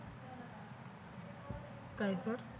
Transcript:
काय सर